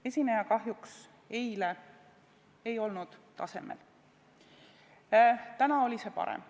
Esineja ei olnud eile kahjuks tasemel, täna oli see parem.